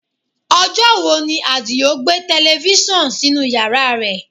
Ọjọ́ wo ni Adio gbé tẹlifísàn sínú yàrá rẹ̀?